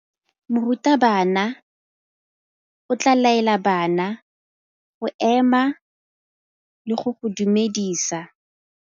Morutabana o tla laela bana go ema le go go dumedisa.